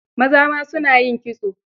Maza ma su na yin kitso.